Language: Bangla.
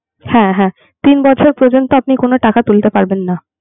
হ্যাঁ হ্যাঁ তিন বছর পর্যন্ত আপনি কোন টাকা তুলতে পারবেন না